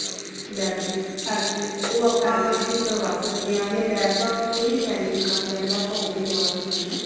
lab ਦੀ ਉਹ ਆਪਾਂ ਠੀਕ ਕਰਵਾ ਸਕਦੇ ਹਾਂ ਯਾ lab ਦਾ ਕੋਈ ਵੀ pending ਕਮ ਰੇਂਦਾ ਆਪਾ ਉਹ ਵੀ ਕਰਵਾਂ ਸਕਦੇ ਹੈ